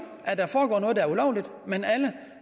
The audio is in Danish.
at der foregår noget der er ulovligt men alle